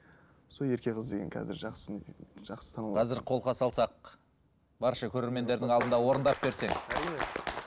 сол ерке қыз деген қазір жақсы жақсы танылып қазір қолқа салсақ барша көрермендердің алдында орындап берсең әрине